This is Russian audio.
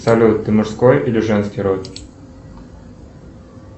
салют ты мужской или женский род